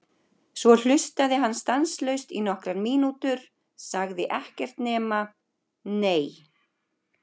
Svo hlustaði hann stanslaust í nokkrar mínútur, sagði ekkert nema: Nei!